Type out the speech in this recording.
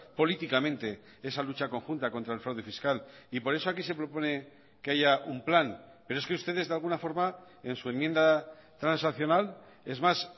políticamente esa lucha conjunta contra el fraude fiscal y por eso aquí se propone que haya un plan pero es que ustedes de alguna forma en su enmienda transaccional es más